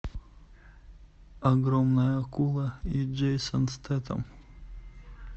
огромная акула и джейсон стейтем